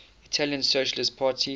italian socialist party